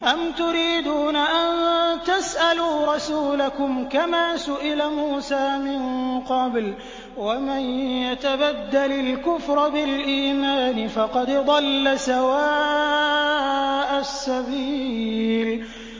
أَمْ تُرِيدُونَ أَن تَسْأَلُوا رَسُولَكُمْ كَمَا سُئِلَ مُوسَىٰ مِن قَبْلُ ۗ وَمَن يَتَبَدَّلِ الْكُفْرَ بِالْإِيمَانِ فَقَدْ ضَلَّ سَوَاءَ السَّبِيلِ